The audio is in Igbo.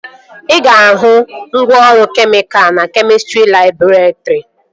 Ị ga-ahụ ngwaọrụ kemịka na kemịstrị labọretrị